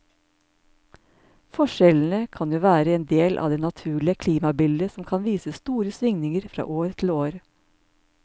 Forskjellene kan jo være en del av det naturlige klimabildet som kan vise store svingninger fra år til år.